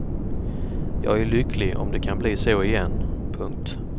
Jag är lycklig om det kan bli så igen. punkt